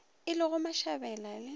e le go mashabela le